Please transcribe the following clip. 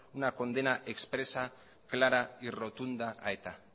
una condena expresa clara y rotunda a eta